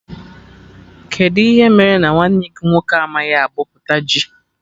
Kedụ ihe mere nwanne gị nwoke amaghị abọpụta ji?